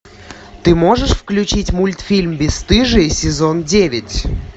ты можешь включить мультфильм бесстыжие сезон девять